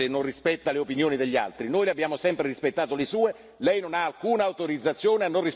Lei evidentemente è un nostalgico di qualche dittatura se non rispetta le opinioni degli altri.